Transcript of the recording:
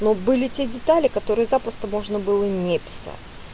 вот были те детали которые запросто можно было не писать